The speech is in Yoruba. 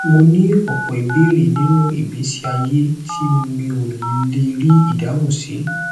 mo ní ọpọ ìbéèrè nínú ìgbésí ayé tí mi ò lè rí ìdáhùn sí